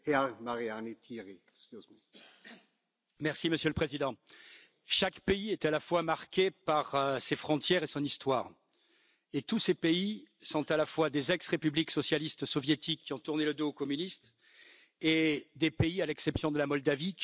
Monsieur le Président, chaque pays est à la fois marqué par ses frontières et son histoire, et tous ces pays sont à la fois des ex républiques socialistes soviétiques qui ont tourné le dos aux communistes et des pays à l'exception de la Moldavie qui ont tous une frontière commune avec la Russie.